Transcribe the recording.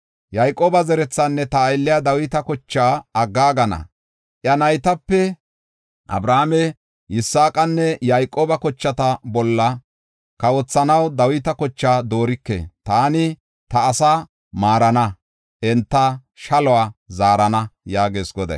Yayqooba zerethaanne ta aylliya Dawita kochaa aggaagana. Iya naytape Abrahaame, Yisaaqanne Yayqooba kochata bolla kawothanaw Dawita kochaa doorike. Taani ta asaa maarana; enta shaluwa zaarana” yaagees Goday.